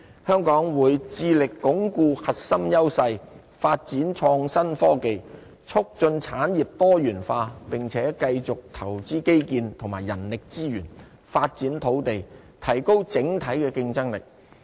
香港會致力鞏固核心優勢，發展創新科技，促進產業多元化並且繼續投資基建及人力資源，發展土地，提高整體競爭力。